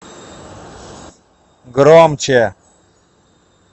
громче